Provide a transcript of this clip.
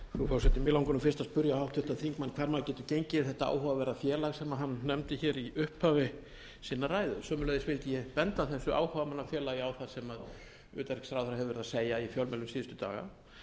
háttvirtan þingmann hvar maður geti gengið í þetta áhugaverða félag sem að nefndi hér í upphafi sinnar ræðu sömuleiðis vildi ég benda þessu áhugamannafélagi á það sem utanríkisráðherra hefur verið að segja í fjölmiðlum síðustu daga